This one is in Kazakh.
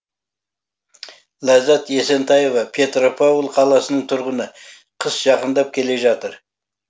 ләззат есентаева петропавл қаласының тұрғыны қыс жақындап келе жатыр